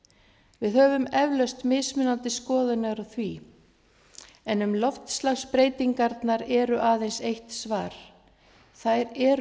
við höfum eflaust mismunandi skoðanir á því en um loftslagsbreytingarnar eru aðeins eitt svar þær eru